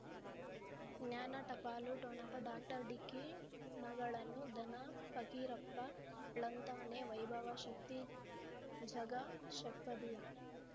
ಜ್ಞಾನ ಟಪಾಲು ಠೊಣಪ ಡಾಕ್ಟರ್ ಢಿಕ್ಕಿ ಣಗಳನು ಧನ ಫಕೀರಪ್ಪ ಳಂತಾನೆ ವೈಭವ ಶಕ್ತಿ ಝಗಾ ಷಟ್ಪದಿಯ